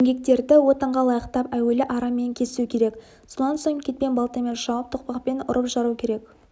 діңгектерді отынға лайықтап әуелі арамен кесу керек сонан соң кетпен балтамен шауып тоқпақпен ұрып жару керек